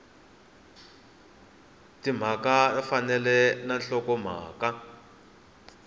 timhaka ya fambelana na nhlokomhaka